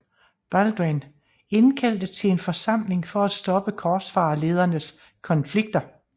Balduin indkaldte til en forsamling for at stoppe korsfarerledernes konflikter